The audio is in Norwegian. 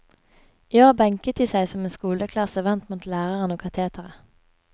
I år benket de seg som en skoleklasse vendt mot læreren og kateteret.